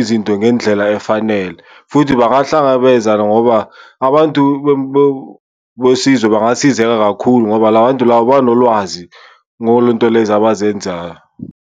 izinto ngendlela efanele. Futhi bahlangabezana ngoba abantu besizwe bangasizeka kakhulu ngoba la bantu laba banolwazi ngolento lezo abazenzayo.